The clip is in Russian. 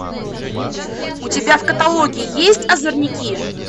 у тебя в каталоге есть озорники